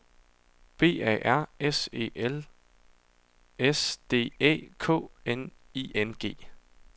B A R S E L S D Æ K N I N G